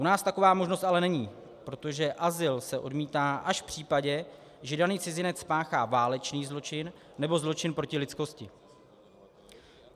U nás taková možnost ale není, protože azyl se odmítá až v případě, že daný cizinec spáchá válečný zločin nebo zločin proti lidskosti.